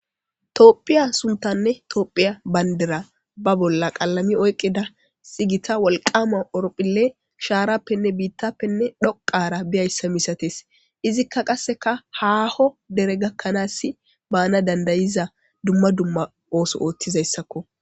toophiya suntanne toophiya bayndera ba bolla qalami oyqida sigita wolqama oropphille shaarappenne biittappenne dhoqara biyayssa misates izikka qasseka haaho dere gakkanaassi baana dandayiza dumma dumma ooso ooththizayssakko